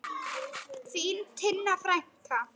Þín Tinna frænka.